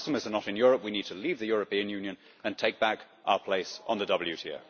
The customers are not in Europe, and we need to leave the European Union and take back our place in the WTO.